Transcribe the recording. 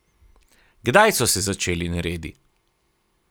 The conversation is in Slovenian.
Kdaj so se začeli neredi?